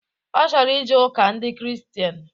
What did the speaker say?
Ọ chọrọ ije ụka ndị kristian